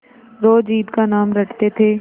रोज ईद का नाम रटते थे